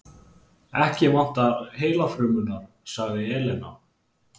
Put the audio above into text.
Ekki vantar heilafrumurnar, sagði Elena.